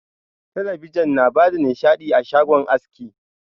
Talabijin na bada nishaɗi a shagon aski.